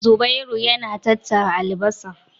Zubairu yana tattara albasar.